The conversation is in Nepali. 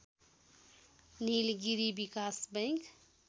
निलगिरी विकास बैंक